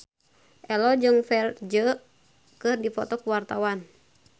Ello jeung Ferdge keur dipoto ku wartawan